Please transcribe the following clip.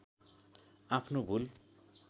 आफ्नो भूल